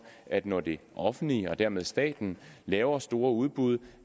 at når det offentlige og dermed staten laver store udbud